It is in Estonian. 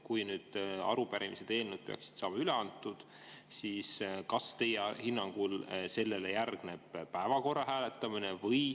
Kui nüüd arupärimised ja eelnõud peaksid saama üle antud, kas siis teie hinnangul sellele järgneb päevakorra hääletamine?